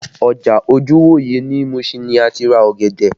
Ọjà Ojuwoye ní Mushin ni a ti ra ọ̀gẹ̀dẹ̀